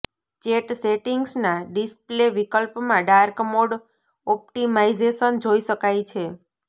chat સેટિંગ્સના display વિકલ્પમાં dark mode optimisation જોઇ શકાય છે